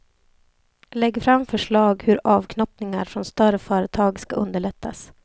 Lägg fram förslag hur avknoppningar från större företag ska underlättas.